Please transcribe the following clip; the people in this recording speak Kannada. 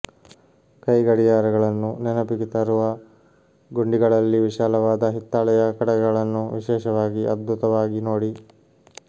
ಕೈಗಡಿಯಾರಗಳನ್ನು ನೆನಪಿಗೆ ತರುವ ಗುಂಡಿಗಳಲ್ಲಿ ವಿಶಾಲವಾದ ಹಿತ್ತಾಳೆಯ ಕಡಗಗಳನ್ನು ವಿಶೇಷವಾಗಿ ಅದ್ಭುತವಾಗಿ ನೋಡಿ